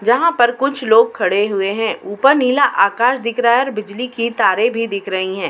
जहाँ पर कुछ लोग खड़े हुए हैं। ऊपर नीला आकाश दिख रहा है और बिजली की तारें भी दिख रही हैं।